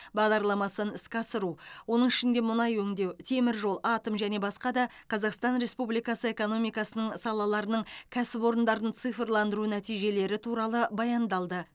бағдарламасын іске асыру оның ішінде мұнай өңдеу теміржол атом және басқа да қазақстан республикасы экономикасының салаларының кәсіпорындарын цифрландыру нәтижелері туралы баяндалды